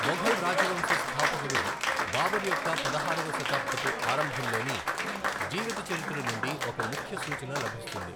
మొఘల్ రాజవంశ స్థాపకుడు బాబర్ యొక్క పదహారవ శతాబ్దపు ఆరంభంలోని జీవిత చరిత్ర నుండి ఒక ముఖ్య సూచన లభిస్తుంది.